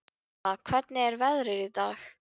Helma, hvernig er veðrið í dag?